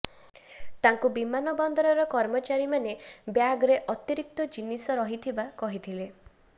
ତାଙ୍କୁ ବିମାନବନ୍ଦର କର୍ମଚାରୀମାନେ ଗ୍ୟାଗ୍ ରେ ଅତିରିକ୍ତ ଜିନିଷ ରହିଥିବା କହିଥିଲେ